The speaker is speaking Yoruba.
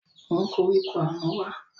Mú koríko àná wá